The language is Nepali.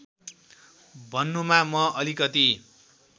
भन्नुमा म अलिकति